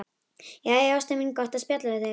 Jæja, ástin mín, gott að spjalla við þig.